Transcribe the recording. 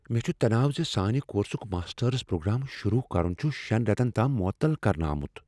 مےٚ چھ تناو ز سانہ کورسک ماسٹٲرس پروگرام شروع کرُن چھُ شین ریتن تام معطل کرنہٕ آمت۔